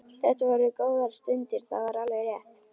Þetta voru góðar stundir, það var alveg rétt.